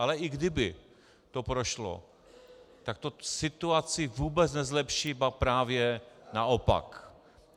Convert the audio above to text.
Ale i kdyby to prošlo, tak to situaci vůbec nezlepší, ba právě naopak.